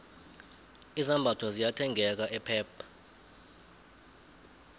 izambatho ziyathengeka epep